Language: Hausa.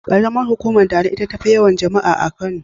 Ƙaramar hukumar Dala ita tafi yawan jama'a a Kano.